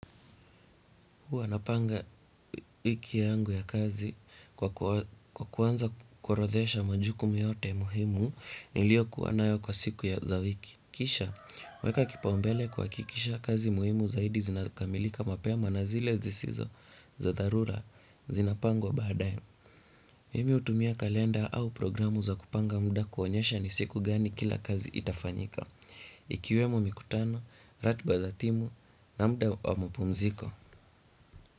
Huwa napanga wiki yangu ya kazi kwa kuanza kuorodhesha majukumu yote muhimu nilio kuwanayo kwa siku ya za wiki. Kisha, uweka kipaumbele kuwakikisha kazi muhimu zaidi zinakamilika mapema na zile zisizo za dharura zinapangwa baadae. Mimi utumia kalenda au programu za kupanga muda kuonyesha ni siku gani kila kazi itafanyika. Ikiwemo mikutano, ratiba za timu na muda wa mapumziko.